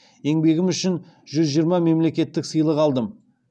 еңбегім үшін жүз жиырма мемлекеттік сыйлық алдым